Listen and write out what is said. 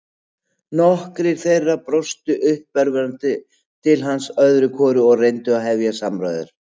Nokkrir þeirra brostu uppörvandi til hans öðru hvoru eða reyndu að hefja samræður.